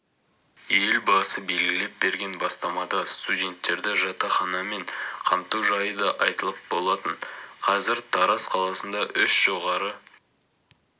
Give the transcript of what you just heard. елбасы белгілеп берген бастамада студенттерді жатақханамен қамту жайы да айтылған болатын қазір тараз қаласында үш жоғары